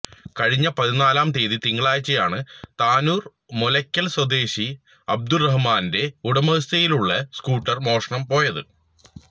കഴിഞ്ഞ പതിനാലാം തിയ്യതി തിങ്കളാഴ്ചയാണ് താനൂർ മൂലക്കൽ സ്വദേശി അബ്ദുറഹിമാന്റെ ഉടമസ്ഥതയിലുള്ള സ്കൂട്ടർ മോഷണം പോയത്